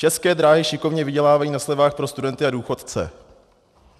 České dráhy šikovně vydělávají na slevách pro studenty a důchodce.